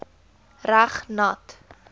reg nat